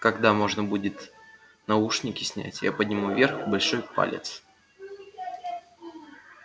когда можно будет наушники снять я подниму вверх большой палец